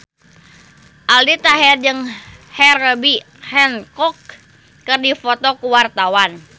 Aldi Taher jeung Herbie Hancock keur dipoto ku wartawan